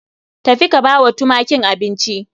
Tafi ka bawa tumakin abinci